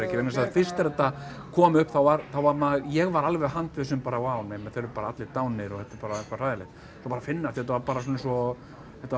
vegna þess að fyrst þegar þetta kom upp þá var var maður ég var alveg handviss um bara vá nei þeir eru bara allir dánir og þetta er bara hræðilegt svo bara finnst þetta var bara svona eins og þetta var